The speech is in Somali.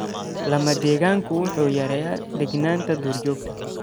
Lama-degaanku wuxuu yareeyaa deegaanada duurjoogta.